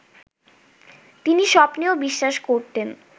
তিনি স্বপ্নেও বিশ্বাস করতেন